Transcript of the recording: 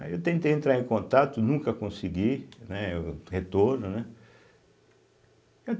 Aí eu tentei entrar em contato, nunca consegui, né, o retorno, né.